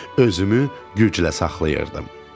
Özümü güclə saxlayırdım.